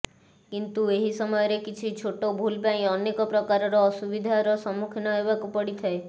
କିନ୍ତୁ ଏହି ସମୟରେ କିଛି ଛୋଟ ଭୁଲ ପାଇଁ ଅନେକ ପ୍ରକାରର ଅସୁବିଧାର ସମ୍ମୁଖୀନ ହେବାକୁ ପଡିଥାଏ